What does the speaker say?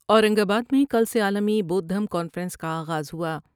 اورنگ آباد میں کل سے عالمی بودھ ڈھم کانفرنس کا آغاز ہوا ۔